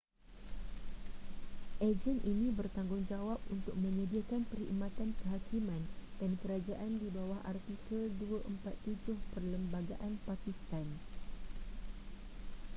agen ini bertanggungjawab untuk menyediakan perkhidmatan kehakiman dan kerajaan di bawah artikel 247 perlembagaan pakistan